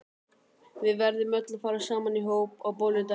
Við verðum öll að fara saman í hóp á bolludaginn.